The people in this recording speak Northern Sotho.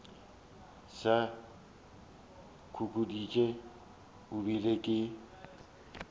sa khuditše e bile ke